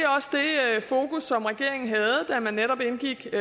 fokus som regeringen havde da man netop indgik